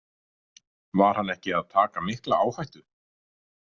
Var hann ekki að taka mikla áhættu?